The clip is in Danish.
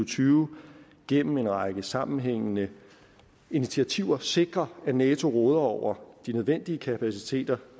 tyve gennem en række sammenhængende initiativer sikre at nato råder over de nødvendige kapaciteter